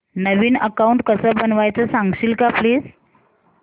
नवीन account कसं बनवायचं सांगशील का प्लीज